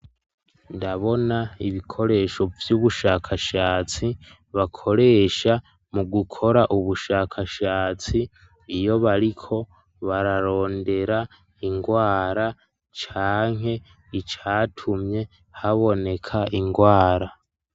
Ndabona ibikoresho vy'ubushakashatsi bakoresha mu gukora ubushakashatsi iyo bariko bararondera ingwara canke icatumye haboneka ingwara.